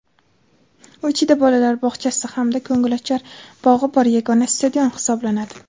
u ichida bolalar bog‘chasi hamda ko‘ngilochar bog‘i bor yagona stadion hisoblanadi.